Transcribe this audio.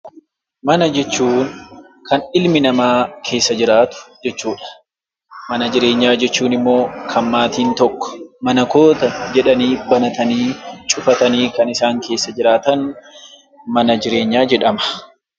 Mana jechuun kan ilmi namaa keessa jiraatu jechuudha. Mana jireenyaa jechuun immoo maatiin tokko mana koo jedhanii banatanii kan isaan keessa jiraatan mana jireenyaa jedhama.